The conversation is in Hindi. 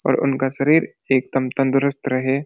और उनका शरीर एकदम तंदुरुस्त रहे --